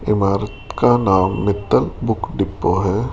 इमारत का नाम मित्तल बुक डिपो है।